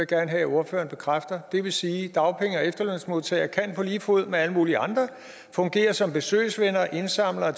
gerne have ordføreren bekræfter det vil sige at dagpenge og efterlønsmodtagere på lige fod med alle mulige andre kan fungere som besøgsvenner og indsamlere